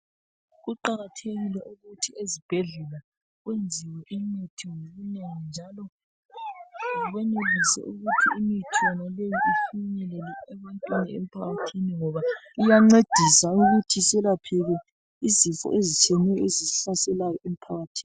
Kuqakathekile ukuthi ezibhedlela kuyenziwe imithi ngobunengi njalo benelise ukuthi imithi leyi ifinyelele ebantwini emphakathini ngoba iyancedisa ukuthi isilaphile izifo ezitshiyeneyo ezisihlaselayo emphakathini.